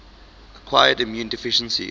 acquired immune deficiency